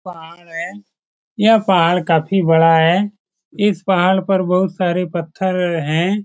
पहाड़ है यह पहाड़ काफी बड़ा है इस पहाड़ पर बहुत सारे पत्थर हैं।